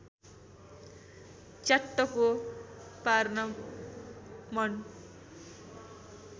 च्याट्टको पार्न मन